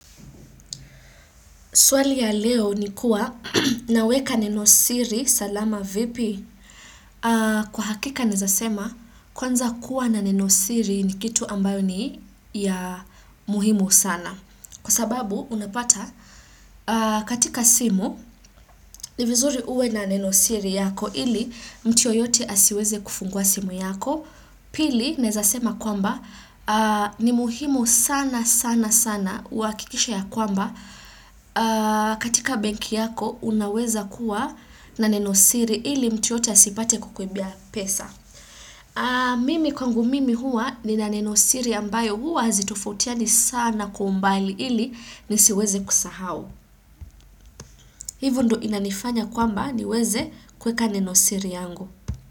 Swali ya leo ni kuwa, naweka nenosiri, salama vipi. Kwa hakika naeza sema, kwanza kuwa na nenosiri ni kitu ambayo ni ya muhimu sana. Kwa sababu, unapata, katika simu, ni vizuri uwe na nenosiri yako, ili mtu yoyote asiweze kufungua simu yako. Pili naeza sema kwamba ni muhimu sana sana sana uhakikishe ya kwamba katika benki yako unaweza kuwa na nenosiri ili mtu yeyote asipate kukuibia pesa. Mimi kwangu mimi huwa nina nenosiri ambayo huwa hazitofutiani sana kwa umbali ili nisiweze kusahau. Hivo ndio inanifanya kwamba niweze kuweka nenosiri yangu.